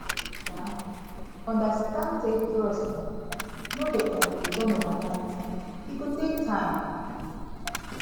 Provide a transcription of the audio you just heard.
um understand say trust um no dey um return overnight e go take time